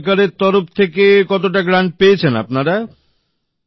ভারত সরকারের তরফ থেকে কতটা অনুদান পেয়েছেন আপনারা